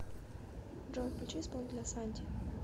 джой включи исполнителя санти